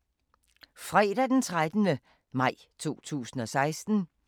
Fredag d. 13. maj 2016